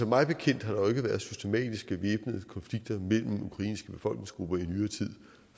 mig bekendt har der ikke været systematiske væbnede konflikter mellem ukrainske befolkningsgrupper i nyere tid